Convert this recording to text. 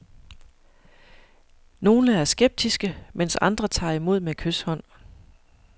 Nogle er skeptiske, mens andre tager imod med kyshånd.